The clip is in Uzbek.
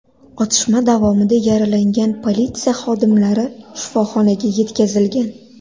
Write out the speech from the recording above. Otishma davomida yaralangan politsiya xodimlari shifoxonaga yetkazilgan.